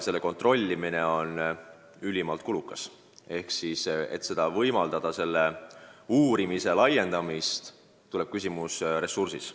Selle kontrollimine on ülimalt kulukas ja selle uurimise laiendamisel tekib kohe küsimus ressursist.